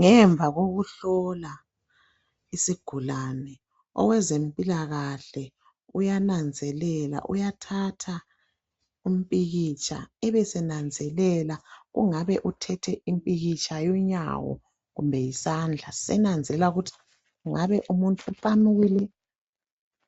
ngemva kokuhlola isigulane owezempilakahle uyananzelela uyathatha umpikitsha abesenanzelela kungabe uthethe umpikitsha wonyawo kumbe yisandla senanzelela ukuthi kungabe umuntu uqamukile